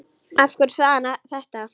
Af hverju sagði hann þetta?